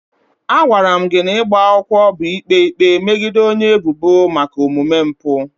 A gwara m na ịgba akwụkwọ bụ ikpe ikpe megide onye ebubo maka omume mpụ.